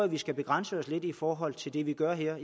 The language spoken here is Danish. vi skal begrænse os i forhold til det vi gør her